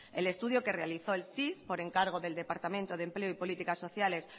el estudio que realizó el cis por encargo del departamento de empleo y políticas sociales